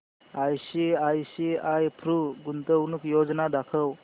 ICICI Pru गुंतवणूक योजना दाखव